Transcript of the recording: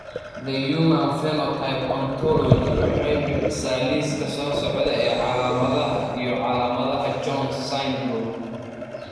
The Human Phenotype Ontology waxay bixisaa liiska soo socda ee calaamadaha iyo calaamadaha Jones syndrome.